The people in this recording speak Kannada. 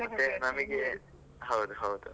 ಮತ್ತೆ ನಮಗೆ ಹೌದು ಹೌದು.